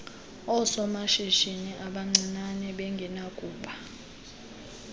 oosomashishini abancinane bengenakuba